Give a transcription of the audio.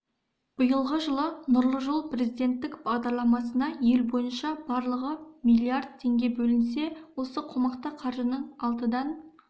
биылғы жылы нұрлы жол президенттік бағдарламасына ел бойынша барлығы милиард теңге бөлінсе осы қомақты қаржының алтыдан